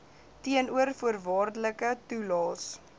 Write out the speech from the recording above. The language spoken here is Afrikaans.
teenoor voorwaardelike toelaes